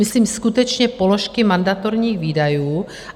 Myslím skutečně položky mandatorních výdajů.